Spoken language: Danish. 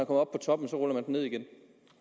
på toppen ruller man den ned igen